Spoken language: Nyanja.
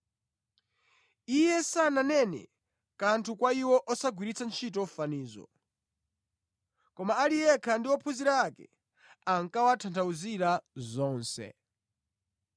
Iye sananene kanthu kwa iwo osagwiritsa ntchito fanizo. Koma ali yekha ndi ophunzira ake, ankawatanthauzira zonse.